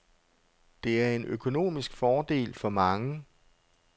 Det er en økonomisk fordel for mange.